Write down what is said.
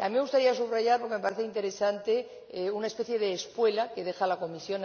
A mí me gustaría subrayar, porque me parece interesante, una especie de espuela que deja la Comisión